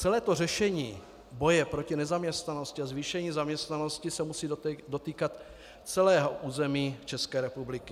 Celé řešení boje proti nezaměstnanosti a zvýšení zaměstnanosti se musí dotýkat celého území České republiky.